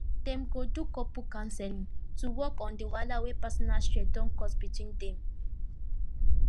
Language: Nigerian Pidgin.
dem go do couple counseling to work on the wahala wey personal stress don cause between dem